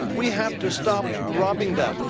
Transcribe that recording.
We have to stop robbing them.